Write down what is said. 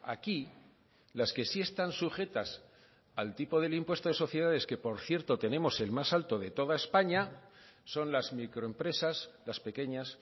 aquí las que sí están sujetas al tipo del impuesto de sociedades que por cierto tenemos el más alto de toda españa son las microempresas las pequeñas